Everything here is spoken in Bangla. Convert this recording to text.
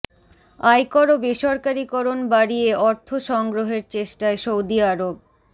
আয়কর ও বেসরকারীকরণ বাড়িয়ে অর্থ সংগ্রহের চেষ্টায় সৌদি আরব